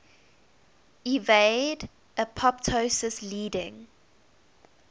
evade apoptosis leading